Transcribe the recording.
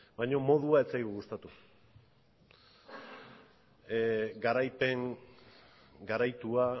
baino modua ez zaigu gustatu garaipen garaitua